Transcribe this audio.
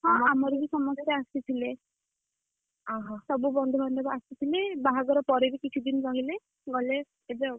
ହଁ ଆମର ବି ସମସ୍ତେ ଆସିଥିଲେ, ସବୁ ବନ୍ଧୁବାନ୍ଧବ ଆସିଥିଲେ, ବାହାଘର ପରେ ବି କିଛି ଦିନ ରହିଲେ, ଗଲେ, ଏବେ ଆଉ।